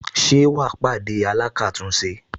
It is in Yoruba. Ṣé wà á pàdé alákàtúnṣe